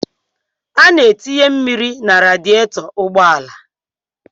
A na-etinye mmiri na radietọ ụgbọala.